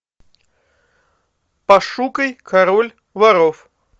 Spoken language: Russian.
пошукай король воров